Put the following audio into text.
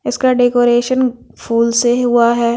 इसका डेकोरेशन फूल से हुआ हैं।